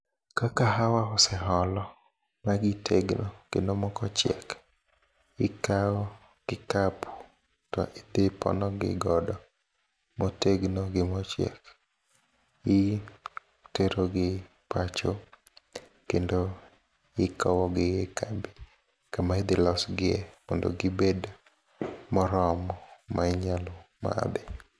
Ka kahawa oseolo magitegno kendo moko ochiek, ikao kikapu to idhi ipono gi godo motegno gi mochiek itero gi pacho kendo ikowo gi kama idhiloso gie mondo gibed moromo mainyalo madhi.